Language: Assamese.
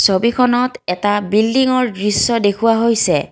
ছবিখনত এটা বিল্ডিংৰ দৃশ্য দেখুওৱা হৈছে।